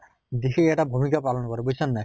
বিশেষ এটা ভুমিকা পালন কৰে বুইছা নে নাই?